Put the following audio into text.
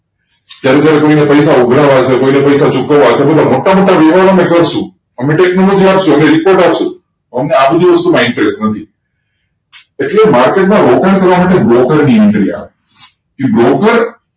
તેને કોઈ પાસે થી પૈસા ઉઘરાવે છે કોઈને પૈસા ચૂકવે છે એ બધા બધા મોટા મોટા વ્યવાર અમે કરસુ એમ તો આપ્સુ અમે રિપોર્ટ આપ્સુ અમને આ બધી વસ્તુ માં interest નથી એટલે market માં રોકાણ કરવા માટે broker ની કી broker